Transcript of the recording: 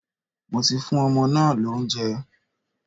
Mo ti fún ọmọ náà lóúnjẹ.